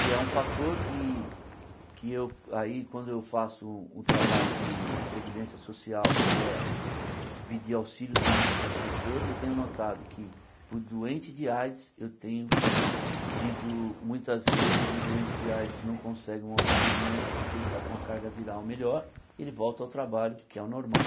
E é um fator que, que eu aí quando eu faço o trabalho de de previdência social, que é pedir auxílio-doença para as pessoas, eu tenho notado que, para o doente de AIDS, eu tenho tido, muitas vezes, o doente de AIDS não consegue um auxílio-doença porque ele está com a carga viral melhor e ele volta ao trabalho, que é o normal.